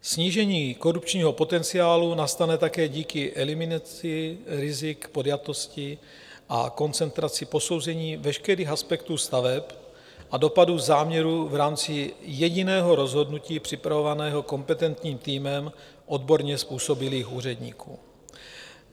Snížení korupčního potenciálu nastane také díky eliminaci rizik podjatosti a koncentraci posouzení veškerých aspektů staveb a dopadů záměrů v rámci jediného rozhodnutí připravovaného kompetentním týmem odborně způsobilých úředníků.